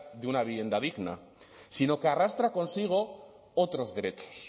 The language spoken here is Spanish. de una vivienda digna sino que arrastra consigo otros derechos